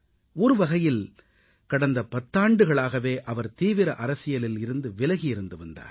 ஒரு வகையில் கடந்த பத்தாண்டுகளாகவே அவர் தீவிர அரசியலில் இருந்து விலகி இருந்து வந்தார்